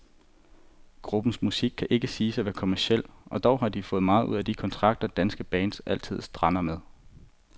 Gruppens musik kan ikke siges at være kommerciel, og dog har de fået meget ud af de kontrakter, danske bands altid strander med.